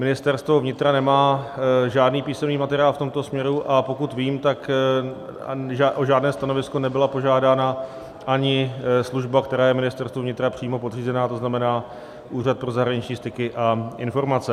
Ministerstvo vnitra nemá žádný písemný materiál v tomto směru, a pokud vím, tak o žádné stanovisko nebyla požádána ani služba, která je Ministerstvu vnitra přímo podřízena, to znamená Úřad pro zahraniční styky a informace.